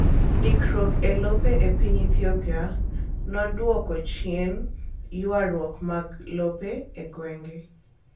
Ndikruok elope epiny Ethiopia noduoko chien yuaruok mag lope egwenge.